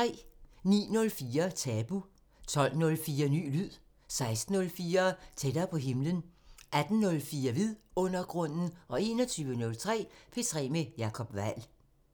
09:04: Tabu 12:04: Ny lyd 16:04: Tættere på himlen 18:04: Vidundergrunden 21:03: P3 med Jacob Weil